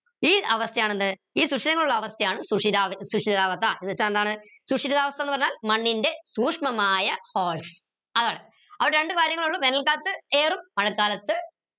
ഈ അവസ്ഥയാണ് എന്ത് ഈ ശുഷിരങ്ങൾ ഉള്ള അവസ്ഥയാണ് എന്ന് വെച്ച എന്താണ് ശൂഷിരവാസ്ഥ ന്ന് പറഞ്ഞ മണ്ണിന്റെ ശൂഷ്മമായ holes അതാണ് അപ്പൊ രണ്ട് കാര്യങ്ങളെ ഇള്ളൂ വേനൽ കാലത്ത് air ഉം മഴക്കാലത്ത്